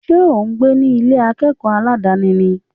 Ṣé ò ń gbé ní Ilé akẹ́kọ̀ọ́ aládàni ni?